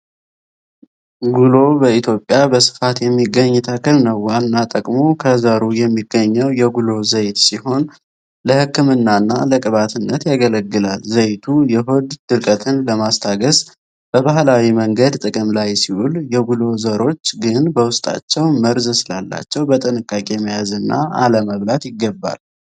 ጉሎ በኢትዮጵያ በስፋት የሚገኝ ተክል ነው። ዋና ጥቅሙ ከዘሩ የሚገኘው የጉሎ ዘይት ሲሆን፣ ለሕክምናና ለቅባትነት ያገለግላል። ዘይቱ የሆድ ድርቀትን ለማስታገስ በባህላዊ መንገድ ጥቅም ላይ ሲውል፣ የጉሎ ዘሮች ግን በውስጣቸው መርዝ ስላላቸው በጥንቃቄ መያዝና አለመብላት ይገባል።